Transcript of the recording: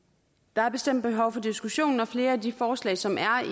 der er bestemt behov for diskussion og flere af de forslag som er